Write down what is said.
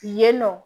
Yen nɔ